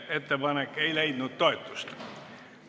Ettepanek ei leidnud toetust.